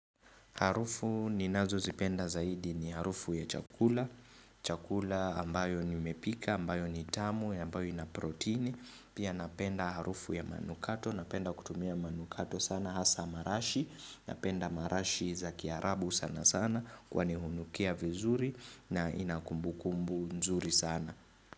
Harufu ninazo zipenda zaidi ni harufu ya chakula, chakula ambayo nimepika, ambayo nitamu, ambayo inaproteini, pia napenda harufu ya manukato, napenda kutumia manukato sana hasa marashi, napenda marashi za kiarabu sana sana kwa nihunukia vizuri na inakumbukumbu nzuri sana.